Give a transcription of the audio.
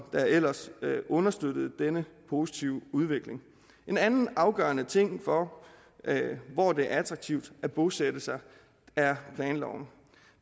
ellers understøttede denne positive udvikling en anden afgørende ting for hvor det er attraktivt at bosætte sig er planloven